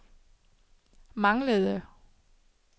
manglede